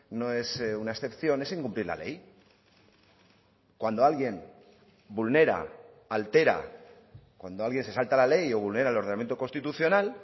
no es una excepción es incumplir la ley cuando alguien vulnera altera cuando alguien se salta la ley o vulnera el ordenamiento constitucional